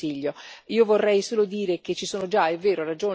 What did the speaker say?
Parlamento, Commissione e Consiglio.